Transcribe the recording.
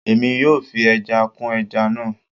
Èmi yóò fi ẹja kún ẹja náà